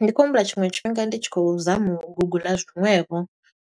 Ndi khou humbula tshiṅwe tshifhinga ndi tshi khou zama u guguḽa zwiṅwevho.